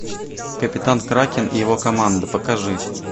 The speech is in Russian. капитан кракен и его команда покажи